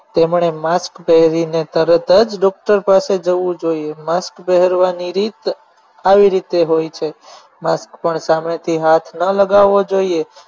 તેમણે mask પહેરીને તરત જ doctor પાસે જવું જોઈએ mask પહેરવાની રીત આવી રીતે હોય છે mask પર સામેથી હાથ ન લગાવો જોઈએ